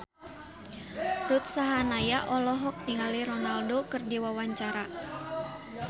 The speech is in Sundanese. Ruth Sahanaya olohok ningali Ronaldo keur diwawancara